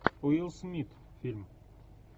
уилл смит фильм